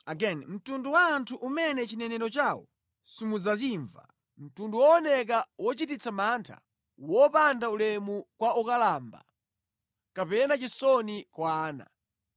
mtundu wooneka wochititsa mantha, wopanda ulemu kwa okalamba kapena chisoni kwa ana.